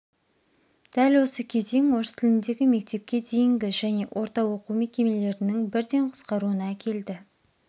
дәл осы кезең орыс тіліндегі мектепке дейінгі және орта оқу мекемелерінің бірден қысқаруына әкелді